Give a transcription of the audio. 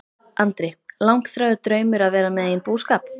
Andri: Langþráður draumur að vera með eigin búskap?